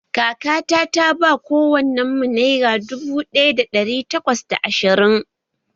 Kakata ta ba kowannenmu naira dubu ɗaya da ɗari takwas da ashirin